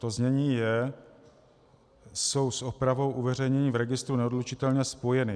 To znění je: "jsou s opravou uveřejnění v registru neodlučitelně spojeny".